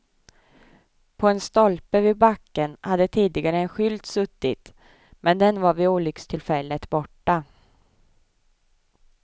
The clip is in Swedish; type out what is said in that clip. På en stolpe vid backen hade tidigare en skylt suttit, men den var vid olyckstillfället borta.